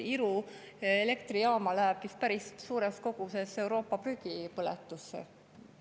Iru elektrijaama läheb päris suures koguses Euroopa prügi põletusse.